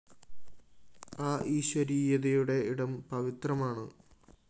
ആ ഈശ്വരീയതയുടെ ഇടം പവിത്രമാണ്